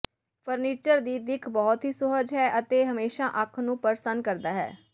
furniture ਦੀ ਦਿੱਖ ਬਹੁਤ ਹੀ ਸੁਹਜ ਹੈ ਅਤੇ ਹਮੇਸ਼ਾ ਅੱਖ ਨੂੰ ਪ੍ਰਸੰਨ ਕਰਦਾ ਹੈ